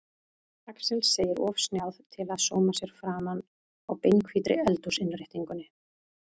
Axel segir of snjáð til að sóma sér framan á beinhvítri eldhúsinnréttingunni.